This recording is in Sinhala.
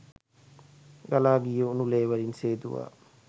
ගලා ගිය උණු ලේ වලින් සේදුවා